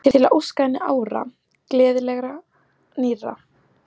Til að óska henni ára, gleðilegra, nýrra.